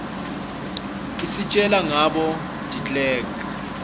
isitjela nagabo deklerek